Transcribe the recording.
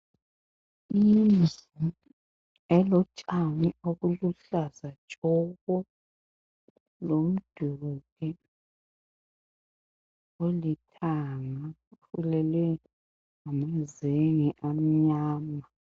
Indlu elotshani obuluhlaza tshoko, lomduli olithanga ofulelwe ngamazenge amnyama.